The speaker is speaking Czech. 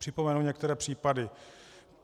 Připomenu některé případy.